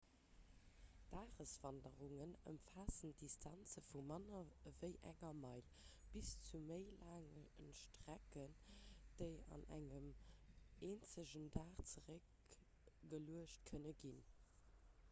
dageswanderungen ëmfaassen distanze vu manner ewéi enger meil bis zu méi laange strecken déi an engem eenzegen dag zeréckgeluecht kënne ginn